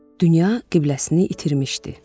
Dünya qibləsini itirmişdi.